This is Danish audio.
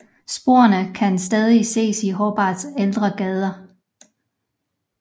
Sporene kan stadig ses i Hobarts ældre gader